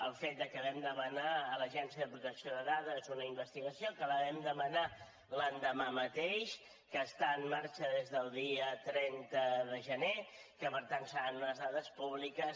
el fet de que vam demanar a l’agència de protecció de dades una investigació que la vam demanar l’endemà mateix que està en marxa des del dia trenta de gener que per tant seran unes dades públiques